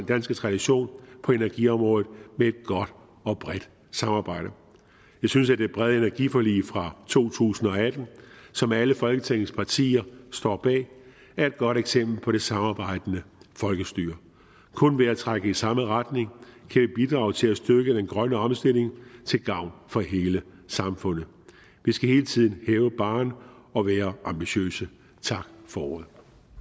danske tradition på energiområdet med et godt og bredt samarbejde vi synes at det brede energiforlig fra to tusind og atten som alle folketingets partier står bag er et godt eksempel på det samarbejdende folkestyre kun ved at trække i samme retning kan vi bidrage til at styrke den grønne omstilling til gavn for hele samfundet vi skal hele tiden hæve barren og være ambitiøse tak for ordet